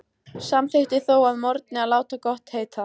Samþykkti þó að morgni að láta gott heita.